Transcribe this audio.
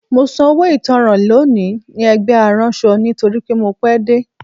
Mo san owó ìtanràn lónìí ní ẹgbẹ́ aránṣọ nítorí mo pẹ́ dé